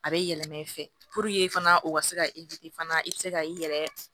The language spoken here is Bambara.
A bɛ yɛlɛma i fɛ fana u ka se ka fana i bɛ se ka i yɛrɛ